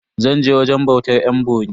Zan je wajen bautar yan bori.